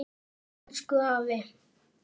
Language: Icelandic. Elsku afi.